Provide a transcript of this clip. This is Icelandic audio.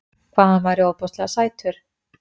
Hvað hann væri ofboðslega sætur.